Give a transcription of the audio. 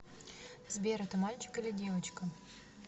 сбер это мальчик или девочка